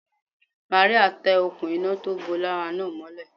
Màríà tẹ òkun iná tó bó lára náà mọ́lé